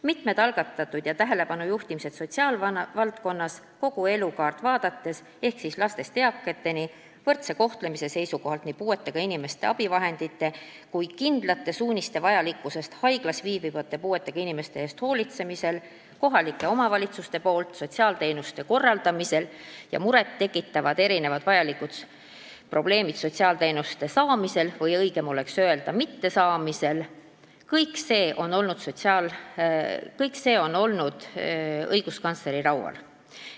Mitmed tähelepanujuhtimised sotsiaalvaldkonnas, mis hõlmavad kogu elukaart ehk siis lastest eakateni ja puudutavad puuetega inimeste võrdset kohtlemist abivahenditega varustamisel, kindlate suuniste vajalikkust haiglas viibivate puuetega inimeste eest hoolitsemisel, kohalike omavalitsuste poolt sotsiaalteenuste korraldamist ja muid muret tekitavaid probleeme sotsiaalteenuste saamisel või õigem oleks öelda, nende mittesaamisel – kõik see on olnud õiguskantsleri laual.